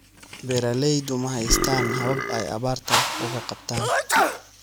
Beeraleydu ma haystaan ??habab ay abaarta wax uga qabtaan.